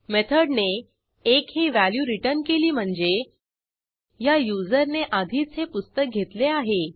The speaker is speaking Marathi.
मेथडने 1 ही व्हॅल्यू रिटर्न केली म्हणजे ह्या युजरने आधीच हे पुस्तक घेतले आहे